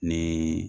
Ni